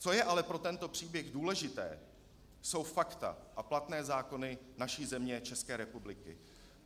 Co je ale pro tento příběh důležité, jsou fakta a platné zákony naší země, České republiky.